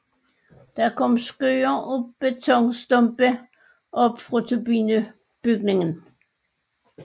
Der kom skyer af betonstumper op fra turbinebygningen